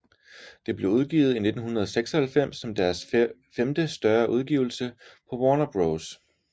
Det blev udgivet i 1996 som deres femte større udgivelse på Warner Bros